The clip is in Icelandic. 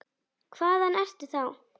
Hvaðan ertu þá?